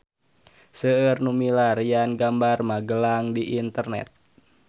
Seueur nu milarian gambar Magelang di internet